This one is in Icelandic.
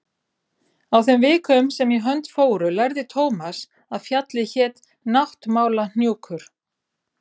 Á þeim vikum sem í hönd fóru lærði Thomas að fjallið hét Náttmálahnjúkur.